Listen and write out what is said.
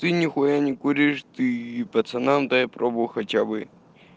ты нехуя не куришь ты пацанам дай пробу хотя бы